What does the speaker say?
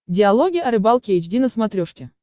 диалоги о рыбалке эйч ди на смотрешке